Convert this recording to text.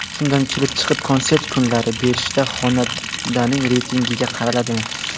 Shundan kelib chiqib, konsert kunlari berishda xonandaning reytinggiga qaraladimi ?